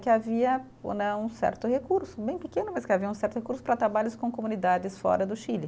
que havia o né um certo recurso, bem pequeno, mas que havia um certo recurso para trabalhos com comunidades fora do Chile.